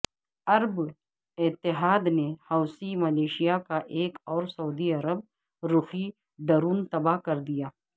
عرب اتحاد نے Houthi militia کا ایک اورسعودی عرب رخی ڈرون تباہ کردیا